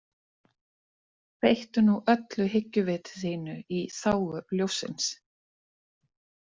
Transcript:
Beittu nú öllu hyggjuviti þínu í þágu ljóssins.